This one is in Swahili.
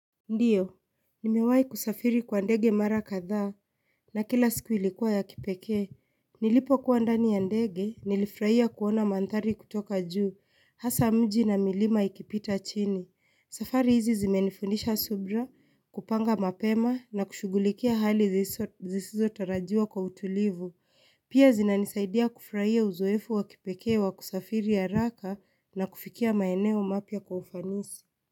Ndiyo, nimewahi kusafiri kwa ndege mara kadhaa, na kila siku ilikuwa ya kipekee. Nilipokuwa ndani ya ndege, nilifurahia kuona mandhari kutoka juu, hasa mji na milima ikipita chini. Safari hizi zimenifundisha subira, kupanga mapema, na kushugulikia hali zisizotarajiwa kwa utulivu. Pia zinanisaidia kufurahia uzoefu wa kipekee wa kusafiri ya raka na kufikia maeneo mapya kwa ufanisi.